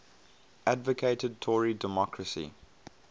advocated tory democracy